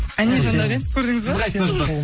әне жандаурен көрдіңіз ба сіз қайсысына жатасыз